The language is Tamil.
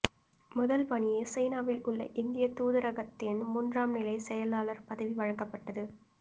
முதல் பணியே சீனாவில் உள்ள இந்திய தூதரகத்தின் மூன்றாம் நிலை செயலராளர் பதவி வழங்கப்பட்டது